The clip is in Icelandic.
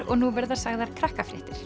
og nú verða sagðar